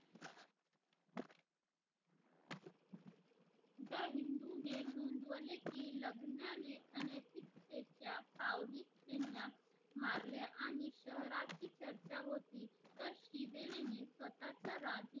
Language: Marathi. मारल्या आणि शहरात हि चर्चा होती तर तिनी हि स्वतःच्या आधुनिक